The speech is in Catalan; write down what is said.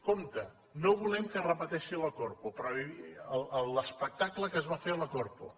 compte no volem que es repeteixi la corpo l’espectacle que es va fer a la corpo